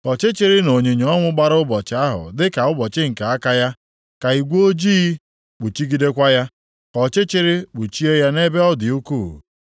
Ka ọchịchịrị na onyinyo ọnwụ gbara ụbọchị ahụ dịka ụbọchị nke aka ya, ka igwe ojii kpuchigidekwa ya, ka ọchịchịrị kpuchie ya nʼebe ọ dị ukwuu.